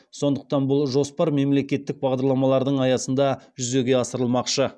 сондықтан бұл жоспар мемлекеттік бағдарламалардың аясында жүзеге асырылмақшы